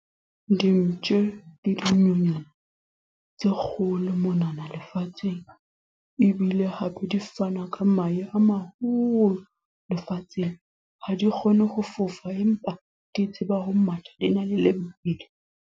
Dimpshe ke dinonyana tse kgolo monana lefatsheng. Ebile hape di fana ka mahe a maholo, lefatsheng. Ha di kgone ho fofa, empa di tseba ho matha. Di na le lebelo.